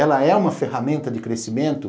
Ela é uma ferramenta de crescimento?